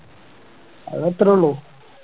അത് അത്രേ ഒള്ളു